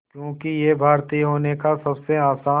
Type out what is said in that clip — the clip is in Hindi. क्योंकि ये भारतीय होने का सबसे आसान